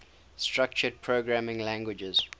structured programming languages